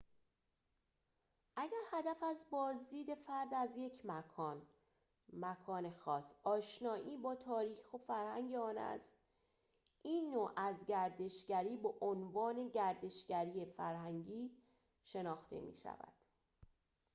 اگر هدف از بازدید فرد از یک مکان خاص آشنایی با تاریخ و فرهنگ آن است این نوع از گردشگری به عنوان گردشگری فرهنگی شناخته می شود